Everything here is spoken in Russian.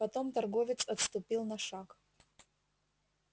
потом торговец отступил на шаг